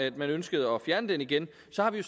at man ønsker at fjerne den igen